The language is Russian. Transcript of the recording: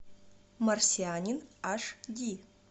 марсианин аш ди